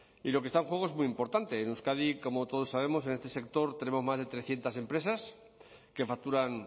y lo que está en juego es muy importante en euskadi como todos sabemos en este sector tenemos más de trescientos empresas que facturan